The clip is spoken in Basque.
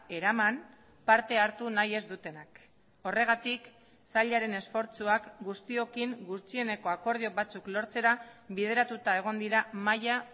eraman parte hartu nahi ez dutenak horregatik sailaren esfortzuak guztiokin gutxieneko akordio batzuk lortzera bideratuta egon dira mahaia